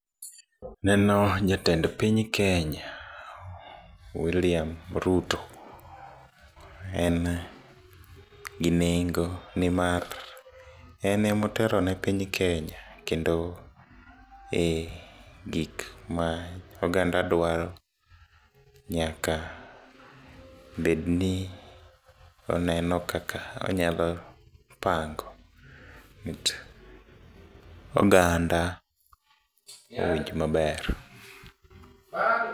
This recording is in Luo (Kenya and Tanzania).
Aneno jatend piny kenya William Ruto, en gi nengo ne nimar enemotelo ne piny kenya kendo e gik maoganda dwaro nyaka bed ni oneno kaka onyapango mi oganda owinj maber